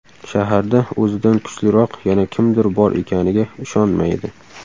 Shaharda o‘zidan kuchliroq yana kimdir bor ekaniga ishonmaydi.